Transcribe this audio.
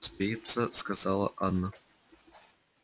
успеется сказала анна